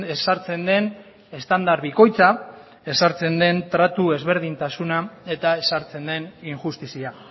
ezartzen den estandar bikoitza ezartzen den tratu ezberdintasuna eta ezartzen den injustizia